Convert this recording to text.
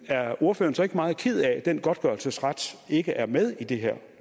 er ordføreren så ikke meget ked af at den godtgørelsesret ikke er med i det her